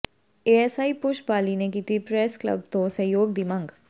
ASI Pushp Bali ਨੇ ਕੀਤੀ press club ਤੋਂ ਸਹਿਯੋਗ ਦੀ ਮੰਗ